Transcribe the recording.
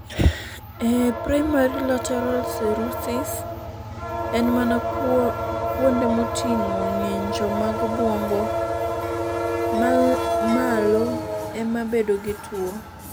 E primary lateral sclerosis, en mana kuonde moting'o ng'injo mag obwongo malo ema bedo gi tuwo.